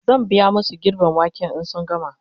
zan biya masu girben waken in sun gama